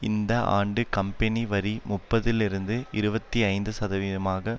இந்த ஆண்டு கம்பெனி வரி முப்பதிலிருந்து இருபத்தி ஐந்து சதவீதமாக